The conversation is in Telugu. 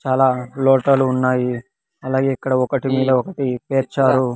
చాలా లోటలు ఉన్నాయి అలాగే ఇక్కడ ఒకటి మీద ఒకటి పేర్చారు.